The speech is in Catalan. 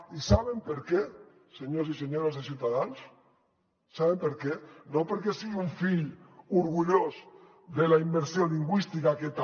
i saben per què senyors i senyores de ciutadans saben per què no perquè sigui un fill orgullós de la immersió lingüística que també